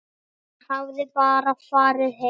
Hafði hann bara farið heim?